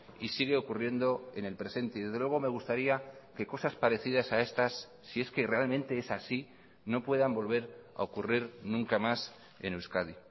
y sigue ocurriendo en el presente y desde luego me gustaría que cosas parecidas a estas si es que realmente es así no puedan volver a ocurrir nunca más en euskadi